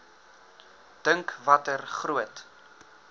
dink watter groot